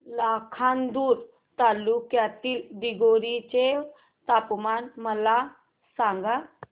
लाखांदूर तालुक्यातील दिघोरी चे तापमान मला सांगा